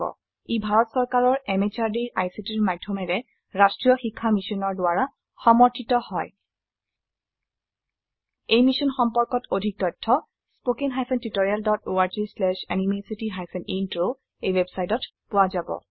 ই ভাৰত চৰকাৰৰ MHRDৰ ICTৰ মাধয়মেৰে ৰাস্ত্ৰীয় শিক্ষা মিছনৰ দ্ৱাৰা সমৰ্থিত হয় এই মিশ্যন সম্পৰ্কত অধিক তথ্য spoken hyphen tutorial dot org slash এনএমইআইচিত হাইফেন ইন্ট্ৰ ৱেবচাইটত পোৱা যাব